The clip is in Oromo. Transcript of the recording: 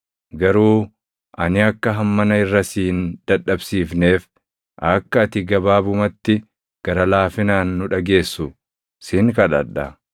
Garuu ani akka hammana irra si hin dadhabsiifneef akka ati gabaabumatti gara laafinaan nu dhageessu sin kadhadha.